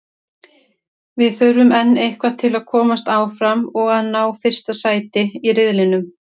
Við þurfum enn eitthvað til að komast áfram og að ná fyrsta sæti í riðlinum.